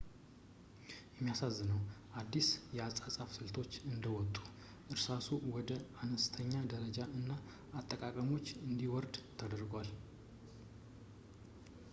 የሚያሳዝነው ፣ አዳዲስ የአጻጻፍ ስልቶች እንደወጡ ፣ እርሳሱ ወደ አነስተኛ ደረጃ እና አጠቃቀሞች እንዲወርድ ተደርጓል